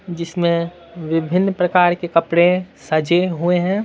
जिसमें विभिन्न प्रकार के कपड़े सजे हुए हैं।